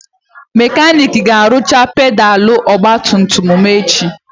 Mekanik ga-arụcha pedalụ ogbatumtum m echi.